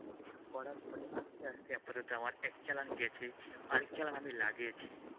এসব করার পরেই আস্তে আস্তে আপাতত আমার এক চালান গেছে আর এক চালান আমি লাগিয়েছি।